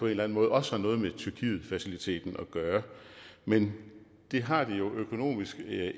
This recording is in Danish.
eller anden måde også har noget med tyrkietfaciliteten at gøre men det har det jo økonomisk